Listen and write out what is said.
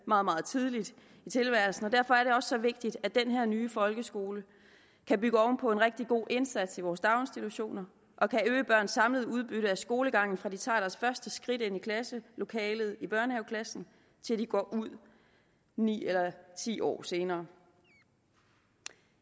meget meget tidligt i tilværelsen og derfor er så vigtigt at den her nye folkeskole kan bygge oven på en rigtig god indsats i vores daginstitutioner og kan øge børns samlede udbytte af skolegangen fra de tager deres første skridt ind i klasselokalet i børnehaveklassen til de går ud ni eller ti år senere